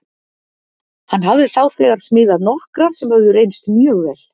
Hann hafði þá þegar smíðað nokkrar sem höfðu reynst mjög vel.